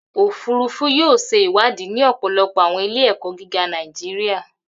Ofurufu yoo ṣe iwadi ni ọpọlọpọ awọn ile-ẹkọ giga Naijiria.